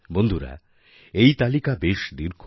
বন্ধুরা এই তালিকা বেশ দীর্ঘ